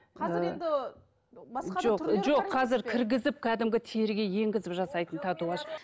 қазір енді қазір кіргізіп кәдімгі теріге енгізіп жасайтын татуаж